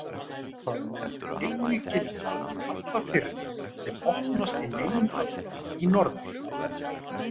Það mundi einnig gilda um alla firði sem opnast í meginatriðum í norður.